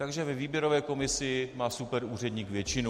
Takže ve výběrové komisi má superúředník většinu.